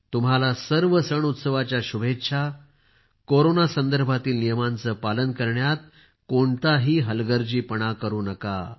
तुम्हाला सर्व सणउत्सवाच्या शुभेच्छा कोरोना संदर्भातील नियमांचे पालन करण्यात कोणताही हलगर्जीपणा करू नका